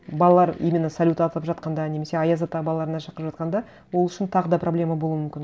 балалар именно салют атып жатқанда немесе аяз ата балаларына шақырып жатқанда ол үшін тағы да проблема болуы мүмкін